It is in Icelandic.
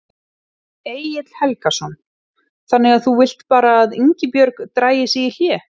Egill Helgason: Þannig að þú vilt bara að Ingibjörg dragi sig í hlé?